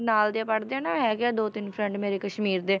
ਨਾਲ ਦੇ ਪੜ੍ਹਦੇ ਆ ਨਾ ਹੈਗੇ ਆ ਦੋ ਤਿੰਨ friend ਮੇਰੇ ਕਸ਼ਮੀਰ ਦੇ,